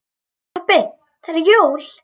Pabbi það eru jól.